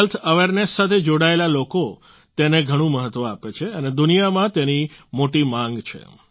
health awareness સાથે જોડાયેલા લોકો તેને ઘણું મહત્વ આપે છે અને દુનિયામાં તેની મોટી માગ પણ છે